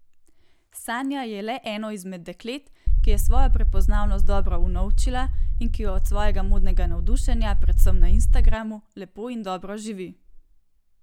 Sanja je le eno izmed deklet, ki je svojo prepoznavnost dobro vnovčila in ki od svojega modnega navdušenja, predvsem na Instagramu, lepo in dobro živi.